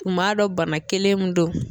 Kun m'a dɔn bana kelen mun don.